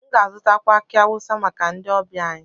M ga-azụtakwu aki awusa maka ndị ọbịa anyị